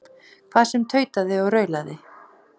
Hvað sem tautaði og raulaði.